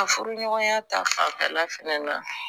A furuɲɔgɔnya ta fanfɛla fɛnɛ na